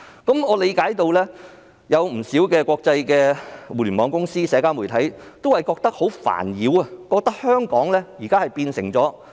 不少國際互聯網公司及社交媒體對此感到煩擾，覺得香港已經變了樣。